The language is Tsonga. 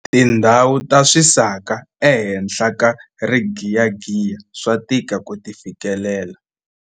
tindhawu ta swisaka ehenhla ka rigiyagiya swa tika ku ti fikelela